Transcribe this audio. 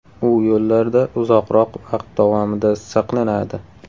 U yo‘llarda uzoqroq vaqt davomida saqlanadi.